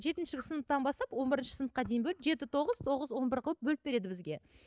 жетінші сыныптан бастан он бірінші сыныпқа дейін бөліп жеті тоғыз тоғыз он бір қылып бөліп береді бізге